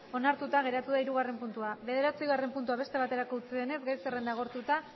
onartuta geratu da hirugarren puntua bederatzigarren puntua beste baterako utzi denez gai zerrenda agortuta